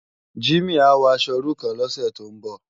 Jimi á wò aṣò irú kán lòsè tó n bò